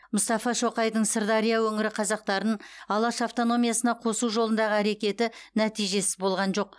мұстафа шоқайдың сырдария өңірі қазақтарын алаш автономиясына қосу жолындағы әрекеті нәтижесіз болған жоқ